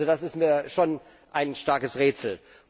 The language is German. Das ist mir schon ein starkes Rätsel.